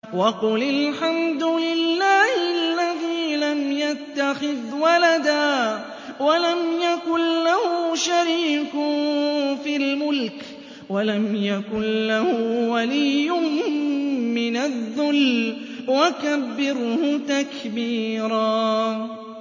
وَقُلِ الْحَمْدُ لِلَّهِ الَّذِي لَمْ يَتَّخِذْ وَلَدًا وَلَمْ يَكُن لَّهُ شَرِيكٌ فِي الْمُلْكِ وَلَمْ يَكُن لَّهُ وَلِيٌّ مِّنَ الذُّلِّ ۖ وَكَبِّرْهُ تَكْبِيرًا